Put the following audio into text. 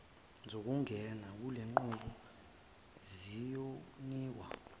zokungena kulenqubo ziyonikwa